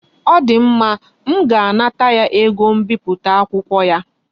O di mma. M ga-anata ya ego mbipụta akwụkwọ ya